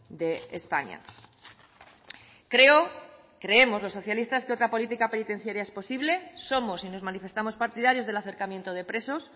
de españa creo creemos lo socialistas que otra política penitenciaria es posible somos y nos manifestamos partidarios del acercamiento de presos